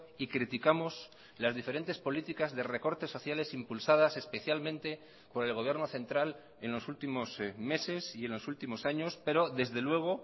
y criticamos las diferentes políticas de recortes sociales impulsadas especialmente por el gobierno central en los últimos meses y en los últimos años pero desde luego